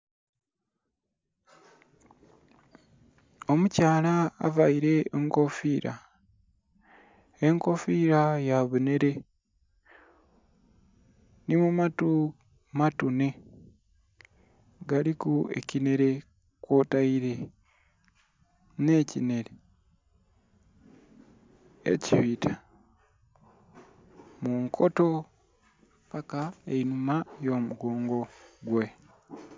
Omukyala aveile enkofiira, enkofiira yabunhere, nhimu matu matune galiku ekinhere kwoteire nhekinhere ekibita munkoto paka enhuma ghamugongo gwe.